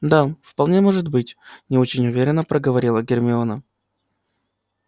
да вполне может быть не очень уверенно проговорила гермиона